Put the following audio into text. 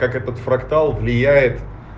как этот фрактал влияет